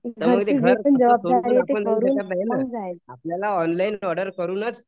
त्यामुळे घर असं सोडून आपण जाऊ शकत नाही ना आपल्याला ऑनलाईन ऑर्डर करूनच